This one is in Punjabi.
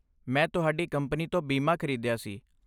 ਮੈਂ ਤੁਹਾਡੀ ਕੰਪਨੀ ਤੋਂ ਬੀਮਾ ਖਰੀਦਿਆ ਸੀ।